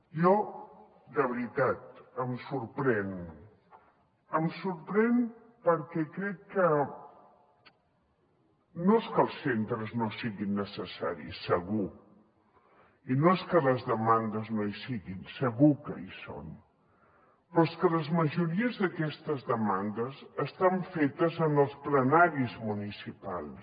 jo de veritat em sorprenc em sorprenc perquè crec que no és que els centres no siguin necessaris segur i no és que les demandes no hi siguin segur que hi són però és que la majoria d’aquestes demandes estan fetes en els plenaris municipals